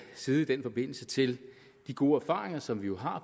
side i den forbindelse til de gode erfaringer som vi jo har